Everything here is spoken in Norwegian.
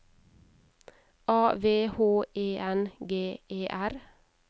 A V H E N G E R